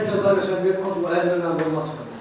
Nə cəza verirsən ver, ancaq əlini mən vurmuram.